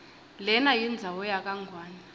lenayindzawo yakangwane